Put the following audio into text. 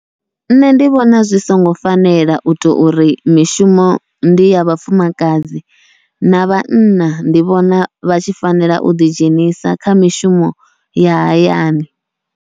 Nṋe ndi vhona zwi songo fanela uto uri mishumo ndi ya vhafumakadzi, na vhanna ndi vhona vha tshi fanela uḓi dzhenisa kha mishumo ya hayani.